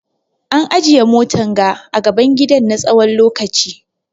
An ajiye motan ga a gaban gidan na tsawon lokaci.